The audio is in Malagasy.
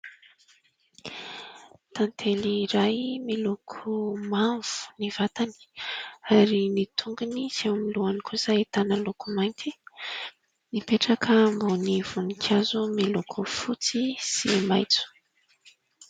Tantely iray miloko mavo ny vatany ary ny tongony sy ao amin' ny lohany kosa ahitana loko mainty ; mipetraka ambony voninkazo miloko fotsy sy maitso.